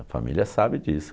A família sabe disso.